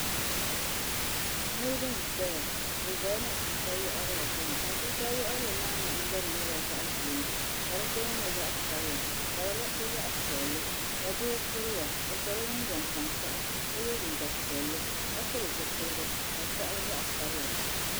Niribi n ʒeya bɛ ʒela matuuka yiɣirigu gbuni matuuka yiɣirigu maa nahangbana maa nyela zaɣʒee ka di gbaya nye zaɣsabila ka di liɣisi zaɣpiɛlli ka doo kuriya o sola jinjam tankpaɣu ka ye liiga piɛlli ka pili zipiligu ka di kɔɣili zaɣsabila.